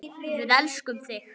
Við elskum þig!